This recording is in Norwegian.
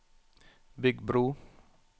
bygg bro